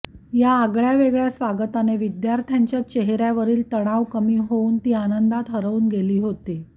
या आगळ्यावेगळ्या स्वागताने विद्यार्थांच्या चेहऱ्यावरील तणाव कमी होऊन ती आनंदात हरवून गेली होती